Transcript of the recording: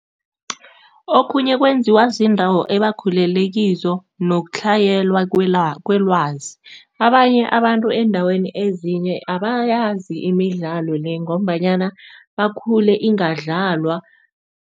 Okhunye kwenziwa ziindawo ebakhulele kizo nokutlhayela kwelwazi, abanye abantu eendaweni ezinye abayazi imidlalo le ngombanyana bakhule ingadlalwa.